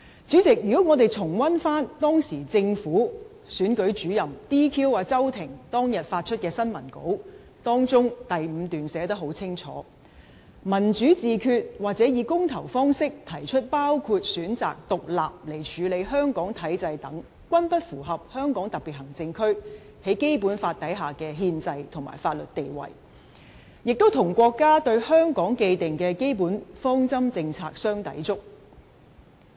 主席，我們可重溫政府的選舉主任在 "DQ" 周庭當日發出的新聞稿，當中第五段清楚註明："'民主自決'或以公投方式提出包括選擇獨立來處理香港體制等，均不符合香港特別行政區在《基本法》下的憲制及法律地位，亦與國家對香港既定的基本方針政策相抵觸。